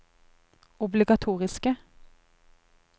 obligatoriske